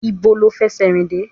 Ibo lo fẹsẹ rìn dé?